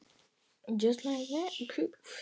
Heyr á endemi!